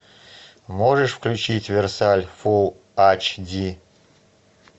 можешь включить версаль фулл аш ди